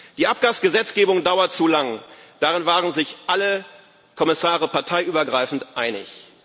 Die Abgasgesetzgebung dauert zu lang darin waren sich alle Kommissare parteiübergreifend einig.